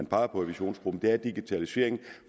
pegede på i visionsgruppen er at digitaliseringen